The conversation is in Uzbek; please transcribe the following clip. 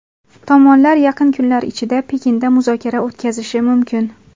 Tomonlar yaqin kunlar ichida Pekinda muzokara o‘tkazishi mumkin.